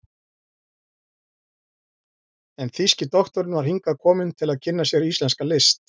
en þýski doktorinn var hingað kominn til að kynna sér íslenska list.